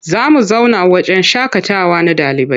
Za mu zauna wahjen shaƙatawa na ɗalibai.